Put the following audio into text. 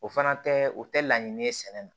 O fana tɛ o tɛ laɲini ye sɛnɛ na